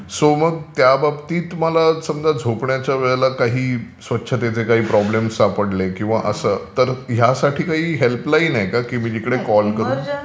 So मग त्याबाबतीत तुम्हाला समजा झोपण्याच्या वेळेला काही स्वच्छतेचे काही प्रॉब्लेम सापडले किंवा असं तर यासाठी काही हेल्पलाईन आहे का जिथे मी कॉल करू शकतो?